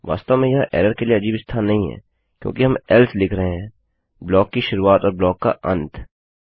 वास्तव में यह एरर के लिए अजीब स्थान नहीं है क्योंकि हम एल्स लिख रहे हैं ब्लॉक की शुरुआत और ब्लॉक का अंत